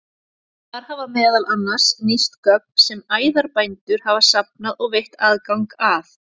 Þar hafa meðal annars nýst gögn sem æðarbændur hafa safnað og veitt aðgang að.